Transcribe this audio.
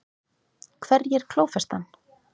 Hverjir klófestu hann?